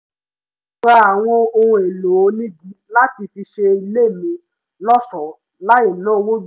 mo ra àwọn ohun èlò onígi láti fi ṣe ilé mi lọ́ṣọ̀ọ́ láì ná owó jù